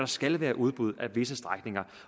skal være udbud af visse strækninger